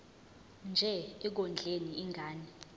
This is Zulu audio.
nje ekondleni ingane